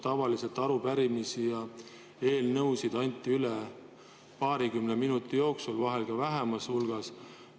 Tavaliselt anti arupärimisi ja eelnõusid üle paarikümne minuti jooksul, vahel veel vähemas hulgas.